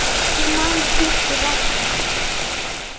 Ég man ég flutti ræðu.